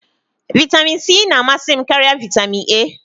Vitamin C na-amasị m karịa vitamin A.